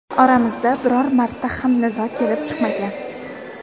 Oramizda biror marta ham nizo kelib chiqmagan.